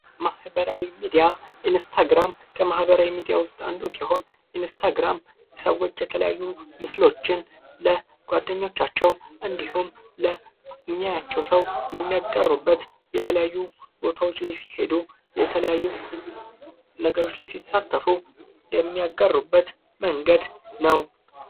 ማህበራዊ ሚዲያ ኢንስታግራም ከማኅበራዊ ሚዲያ ውስጥ አንዱ ሲሆን ፤ ኢንስተግራም ሰዎች የተለያዩ ምስሎችን ለ ጓደኞቻቸው እንዲሁም ለሚያያቸው ሰው የሚያጋሩበት የተለያዩ ቦታዎች ላይ ሲሄዱ የተለያዩ ነገሮች ላይ ሲሳተፉ የሚያጋሩበት መንገድ ነው።